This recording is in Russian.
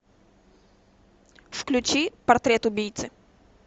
включи портрет убийцы